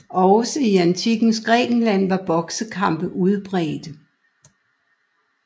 Også i Antikkens Grækenland var boksekampe udbredte